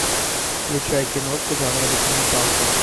включай киношку жанра документалка